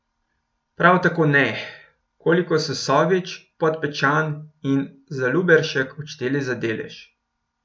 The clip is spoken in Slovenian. Prav tako ne, koliko so Sovič, Podpečan in Zaluberšek odšteli za delež.